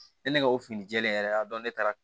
Ne ne ka o fini jɛɛlen yɛrɛ y'a dɔn ne taara